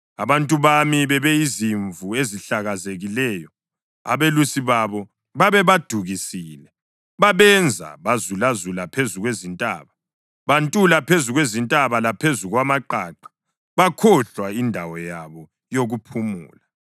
Abantu bami bebeyizimvu ezilahlekileyo, abelusi babo babebadukisile babenza bazulazula phezu kwezintaba. Bantula phezu kwezintaba laphezu kwamaqaqa bakhohlwa indawo yabo yokuphumula.